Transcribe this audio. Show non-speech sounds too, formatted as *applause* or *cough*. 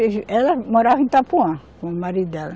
*unintelligible* Ela morava em Itapuã, com o marido dela.